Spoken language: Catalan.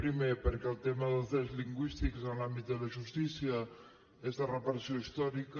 primer perquè el tema dels drets lingüístics en l’àmbit de la justícia és de reparació històrica